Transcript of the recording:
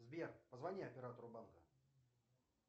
сбер позвони оператору банка